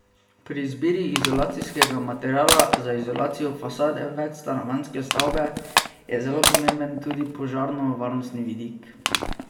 Pri izbiri izolacijskega materiala za izolacijo fasade večstanovanjske stavbe je zelo pomemben tudi požarno varnostni vidik.